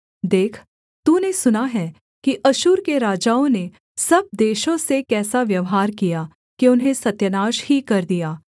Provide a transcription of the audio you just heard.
देख तूने सुना है कि अश्शूर के राजाओं ने सब देशों से कैसा व्यवहार किया कि उन्हें सत्यानाश ही कर दिया